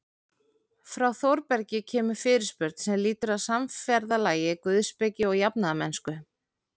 Frá Þórbergi kemur fyrirspurn sem lýtur að samferðalagi guðspeki og jafnaðarmennsku.